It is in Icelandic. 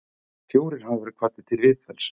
Fjórir hafa verið kvaddir til viðtals